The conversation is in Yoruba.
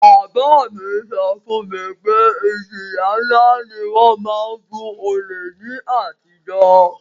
Bàbá mi so fún mi pe ìjìyà nlá ni won má n fun olè ni àtijó